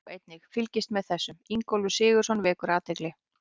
Sjá einnig: Fylgist með þessum: Ingólfur Sigurðsson vekur athygli